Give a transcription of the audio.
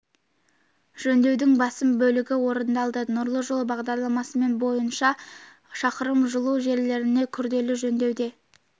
жөндеудің басым бөлігі орындалды нұрлы жол бағдарламасымен жоба бойынша шақырым жылу желілеріне күрделі жөндеу де